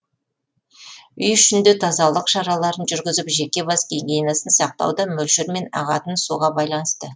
үй ішінде тазалық шараларын жүргізіп жеке бас гигиенасын сақтау да мөлшермен ағатын суға байланысты